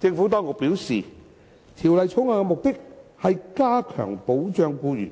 政府當局表示，《條例草案》的目的是加強保障僱員，